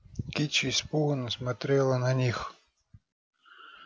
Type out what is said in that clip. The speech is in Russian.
кичи испуганно смотрела на них